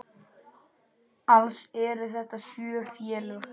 Alls eru þetta sjö félög.